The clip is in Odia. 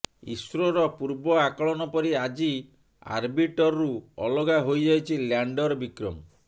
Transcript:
ଇସ୍ରୋର ପୂର୍ବ ଆକଳନ ପରି ଆଜି ଅର୍ବିଟରରୁ ଅଲଗା ହୋଇଯାଇଛି ଲାଣ୍ଡର ବିକ୍ରମ